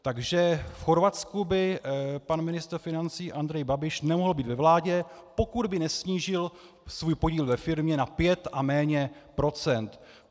Takže v Chorvatsku by pan ministr financí Andrej Babiš nemohl být ve vládě, pokud by nesnížil svůj podíl ve firmě na pět a méně procent.